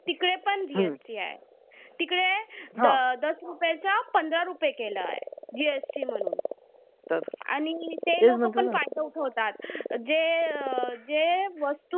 तिकडे रुपयाचं पंधरा रुपये केलंय. GST म्हणून. आणि ते लोकं पण पाठऊक होतात जे अं जे